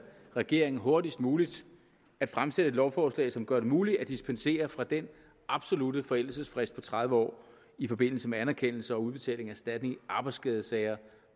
regeringen hurtigst muligt at fremsætte et lovforslag som gør det muligt at dispensere fra den absolutte forældelsesfrist på tredive år i forbindelse med anerkendelse og udbetaling af erstatning i arbejdsskadesager